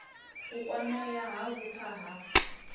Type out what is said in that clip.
u kwamea ha vhupfa ha